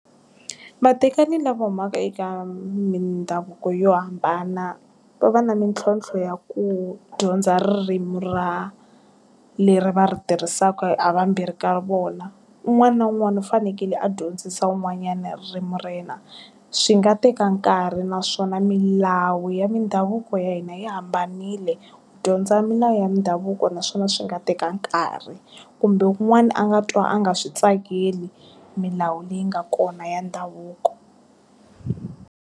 Vatekani lava humaka eka mindhavuko yo hambana, va va na mitlhontlho ya ku dyondza ririmi ra, leri va ri tirhisaka ha vambirhi ka vona. Un'wana na un'wana u fanekele a dyondzisa wun'wanyana ririmi ra yena. Swi nga teka nkarhi naswona milawu ya mindhavuko ya hina yi hambanile, dyondza milawu ya mindhavuko naswona swi nga teka nkarhi. Kumbe un'wani a nga twa a nga swi tsakeli, milawu leyi nga kona ya ndhavuko.